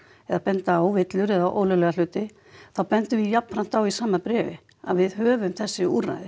eða benda á villur eða ólöglega hluti þá bendum við jafnframt á í sama bréfi að við höfum þessi úrræði